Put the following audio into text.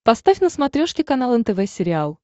поставь на смотрешке канал нтв сериал